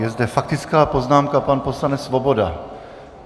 Je zde faktická poznámka - pan poslanec Svoboda.